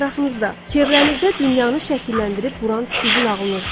Ətrafınızda, çevrənizdə dünyanı şəkilləndirib quran sizin ağlınızdır.